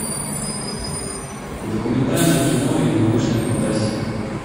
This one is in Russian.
документальное кино или научная фантастика